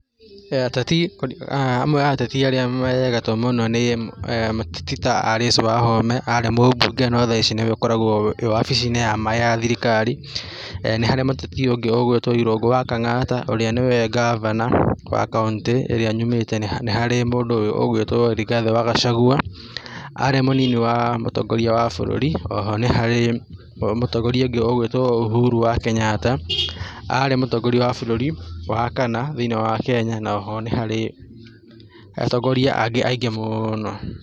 Ateti, amwe a ateti arĩa me gatũ mũno nĩ mũteti ta Alice Wahome, arĩ mũmbunge no thaici nĩwe ũkoragwo wabici-inĩ ya thirikari ya maĩ, nĩharĩ mũteti ũngĩ ũgwĩtwo Irungu wa Kang'ata, ũrĩa nĩwe ngavana wa kaũntĩ ĩrĩa nyumĩte, nĩharĩ mũndũ ũgwĩtwo Rigathĩ wa Gackagua, arĩ mũnini wa mũtongoria wa bũrũri, o ho nĩ harĩ mũtongoria ũngĩ ũgwĩtwo Ũhuru wa Kenyatta, arĩ mũtongoria wa bũrũri wa kana thĩ-inĩ wa Kenya, oho nĩ harĩ atongoria angĩ aingĩ mũno.